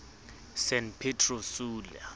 san pedro sula